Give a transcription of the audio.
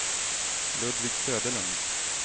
Ludvig Söderlund